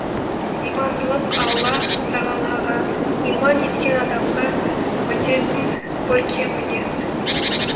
имандылық алла тағалаға иман еткен адамға бітетін көркем мінез